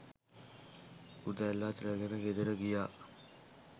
උදැල්ලත් රැගෙන ගෙදර ගියා.